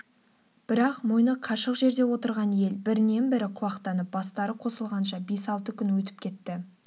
бірақ мойны қашық жерде отырған ел бірінен-бірі құлақтанып бастары қосылғанша бес-алты күн өтіп кетті